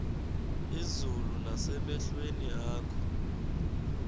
izulu nasemehlweni akho